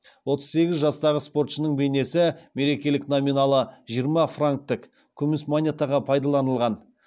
отыз сегіз жастағы спортшының бейнесі мерекелік номиналы жиырма франктік күміс монетаға пайдаланылған